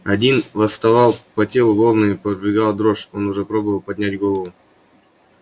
один восставал по телу волнами пробегала дрожь он уже пробовал поднять голову